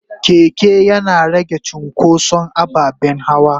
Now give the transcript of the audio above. keke Yana rage cunkoson ababen hawa.